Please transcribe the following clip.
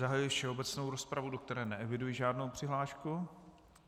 Zahajuji všeobecnou rozpravu, do které neeviduji žádnou přihlášku.